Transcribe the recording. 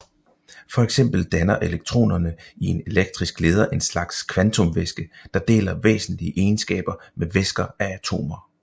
For eksempel danner elektronerne i en elektrisk leder en slags kvantumvæske der deler væsentlige egenskaber med væsker af atomer